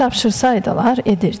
Nə tapşırsaidılar, edirdi.